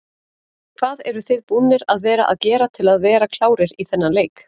Hvað eruð þið búnir að vera að gera til að vera klárir í þennan leik?